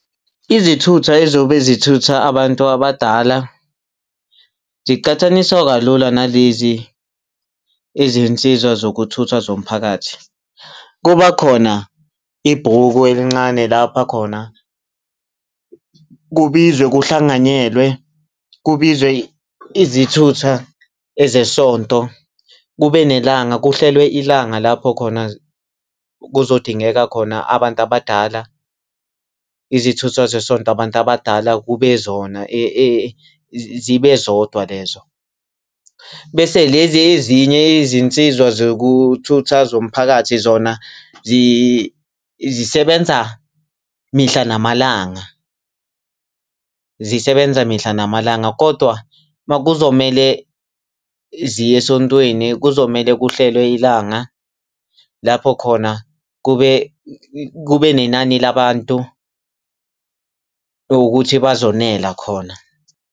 Izithutha ezobe zithutha abantu abadala ziqhathaniswa kalula nalezi eziyizinsiza zokuthutha zomphakathi. Kuba khona ibhuku elincane lapha khona kubizwe kuhlanganyelwe, kubizwe izithutha ezesonto, kube nelanga, kuhlelwe ilanga lapho khona kuzodingeka khona abantu abadala. Izithutha zesonto abantu abadala kube zona zibe zodwa lezo. Bese lezi ezinye izinsizwa zokuthutha zomphakathi zona zisebenza mihla namalanga, zisebenza mihla namalanga. Kodwa kuzomele ziye esontweni, kuzomele kuhlelwe ilanga lapho khona kube kube nenani labantu ukuthi bazonela khona.